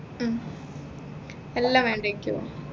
ഉം എല്ലാം വേണ്ടേ ക്കു